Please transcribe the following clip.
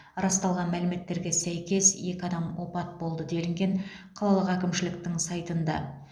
расталған мәліметтерге сәйкес екі адам опат болды делінген қалалық әкімшіліктің сайтында